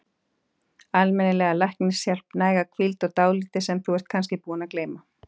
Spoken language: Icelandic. Almennilega læknishjálp, næga hvíld, og dálítið sem þú ert kannski búin að gleyma.